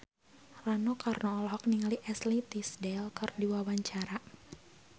Rano Karno olohok ningali Ashley Tisdale keur diwawancara